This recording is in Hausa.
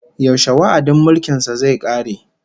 Yaushe wa'adin mulkin sa zai kare?